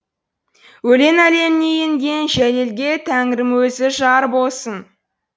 өлең әлеміне енген жәлелге тәңірім өзі жар болсын